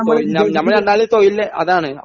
ഞ ഞ ഞമ്മളെ രണ്ടാളെ തൊഴില് അതാണ്